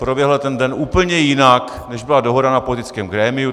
Proběhl ten den úplně jinak, než byla dohoda na politickém grémiu.